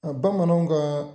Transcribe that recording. A bamananw kaa